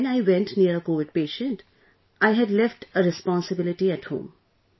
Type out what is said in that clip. But when I went near a Covid patient, I had left a responsibility at home